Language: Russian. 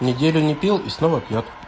неделю не пьёт и снова пьёт